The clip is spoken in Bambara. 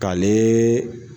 K'ale